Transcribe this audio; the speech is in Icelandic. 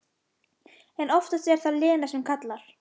En oftast er það Lena sem kallar.